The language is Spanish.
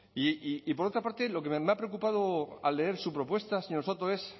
y por otra parte lo que me ha preocupado al leer su propuesta señor soto es